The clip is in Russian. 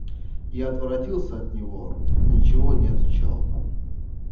я отворотился от него и ничего не отвечал